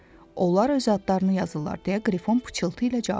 Onlar öz adlarını yazırlar deyə Qrifon pıçıltı ilə cavab verdi.